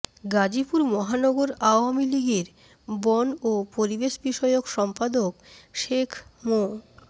গাজীপুর মহানগর আওয়ামী লীগের বন ও পরিবেশ বিষয়ক সম্পাদক শেখ মো